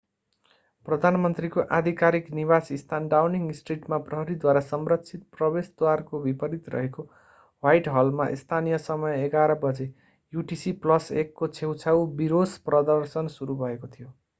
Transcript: प्रधानमन्त्रीको आधिकारिक निवासस्थान डाउनिङ स्ट्रिटमा प्रहरीद्वारा संरक्षित प्रवेशद्वारको विपरीत रहेको ह्वाइटहलमा स्थानीय समय 11:00 बजे युटिसी+1 को छेउछाउ विरोश-प्रदर्शन सुरु भएको थियो।